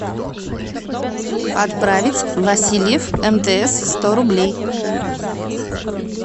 отправить васильев мтс сто рублей